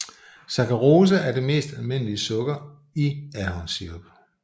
Saccharose er det mest almindelige sukker i ahornsirup